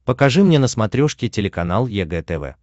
покажи мне на смотрешке телеканал егэ тв